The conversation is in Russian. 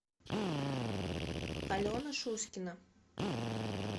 алена шуськина